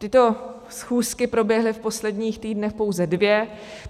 Tyto schůzky proběhly v posledních týdnech pouze dvě.